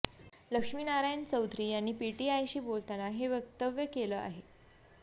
लक्ष्मी नारायण चौधरी यांनी पीटीआयशी बोलताना हे वक्तव्य केलं आहे